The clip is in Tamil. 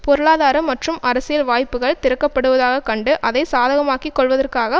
பொருளாதார மற்றும் அரசியல் வாய்ப்புக்கள் திறக்கப்படுவதாக கண்டு அதை சாதகமாக்கி கொள்வதற்காக